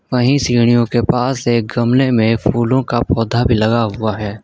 वहीं सीढ़ियों के पास एक गमले में फूलों का पौधा भी लगा हुआ है।